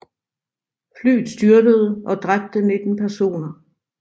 Flyet styrtede og dræbte 19 personer